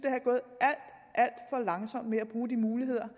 at for langsomt med at bruge de muligheder